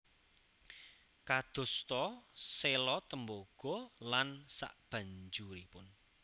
Kados ta séla tembaga lan sabanjuripun